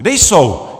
Kde jsou?